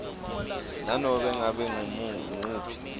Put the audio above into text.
nanobe ngabe nguwuphi